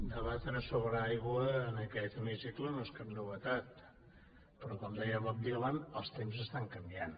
debatre sobre aigua en aquest hemicicle no és cap novetat però com deia bob dylan els temps estan canviant